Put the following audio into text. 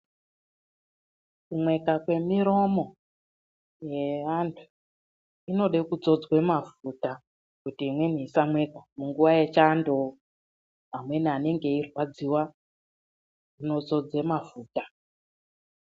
Kumweka kwemiromo yeantu inode kudzodzwe mafuta kuti imweni isamweka munguwa yechando . Amweni anenge eirwadziwa inozodzwe mafuta.